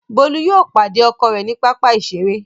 Bolu yóò pàdé ọkọ rẹ ní papa iṣere.